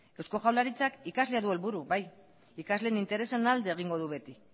eusko jaurlaritzak ikasle du helburu bai ikasle interesen alde egingo du beti